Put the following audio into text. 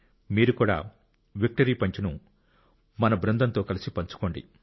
మీరు కూడా విక్టరీ పంచ్ను మీ బృందంతో కలిసి పంచుకోండి